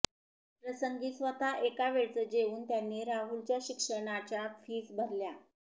प्रसंगी स्वत एका वेळच जेऊन त्यांनी राहुलच्या शिक्षणाच्या फ़ीस भरल्या